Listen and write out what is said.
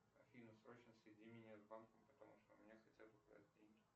афина срочно соедини меня с банком потому что у меня хотят украсть деньги